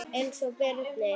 Einar Birnir.